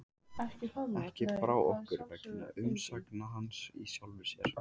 Ekki brá okkur vegna umsagna hans í sjálfu sér.